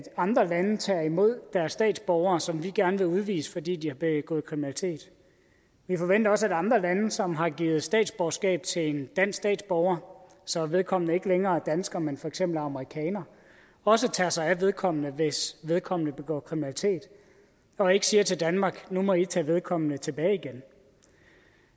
andre lande tager imod deres statsborgere som vi gerne vil udvise fordi de har begået kriminalitet vi forventer også at andre lande som har givet statsborgerskab til en dansk statsborger så vedkommende ikke længere er dansker men for eksempel amerikaner også tager sig af vedkommende hvis vedkommende begår kriminalitet og ikke siger til danmark at nu må vi tage vedkommende tilbage igen